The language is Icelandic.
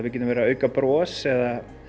auka bros eða